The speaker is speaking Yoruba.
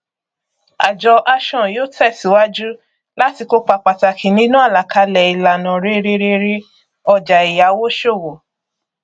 àjọ ashon yóò tẹsíwájú láti kópa pàtàkì nínú àlàkalè ìlànà rere rere ọjà èyàwó ṣòwò